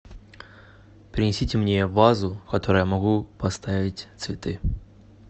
принесите мне вазу в которую я могу поставить цветы